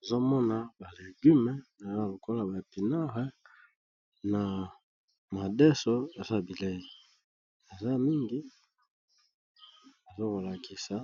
Ezo mona balegume eza lokola ba epinare na madeso eza bilei eza mingi ezokolakisa